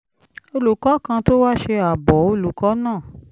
olùkọ́ kan tó wá ṣe àbọ̀ olùkọ́ náà